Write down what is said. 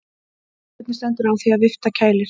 Hvernig stendur á því að vifta kælir?